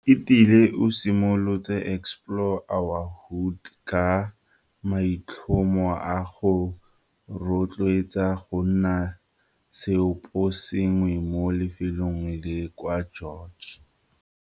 Entile o simolotse Explore our Hood ka maitlhomo a go rotloetsa go nna seoposengwe mo lefelong la kwa George.